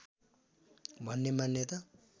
भन्ने मान्यता